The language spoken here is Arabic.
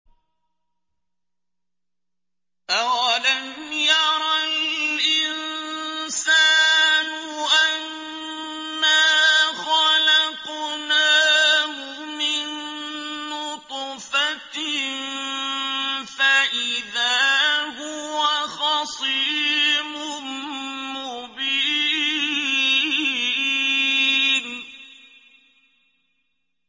أَوَلَمْ يَرَ الْإِنسَانُ أَنَّا خَلَقْنَاهُ مِن نُّطْفَةٍ فَإِذَا هُوَ خَصِيمٌ مُّبِينٌ